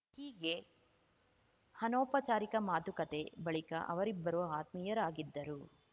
ಹೀಗೆ ಅನೌಪಚಾರಿಕ ಮಾತುಕತೆ ಬಳಿಕ ಅವರಿಬ್ಬರು ಆತ್ಮೀಯರಾಗಿದ್ದರು